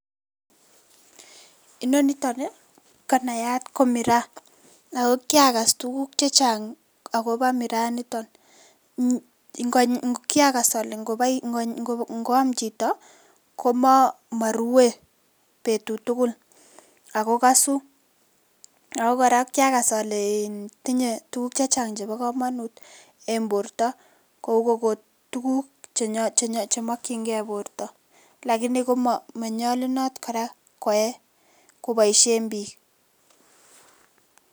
Inonito nii konayat ko Miraa akokiakas tukuk chechang' akopo Miraa inito kiac ale ngoam chito komorue betut tugul ako kosu ako kora kiakas ale tinye tukuk che chang' chepokomonut en borto, kou okot tukuk chemokyinge borto lakini komonyolunot kora koe koboisien biik.